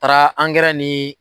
Taara angɛrɛ niii.